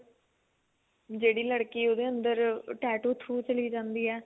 ਜਿਹੜੀ ਲੜਕੀ ਉਹਦੇ ਅੰਦਰ tattoo through ਚਲੀ ਜਾਂਦੀ ਏ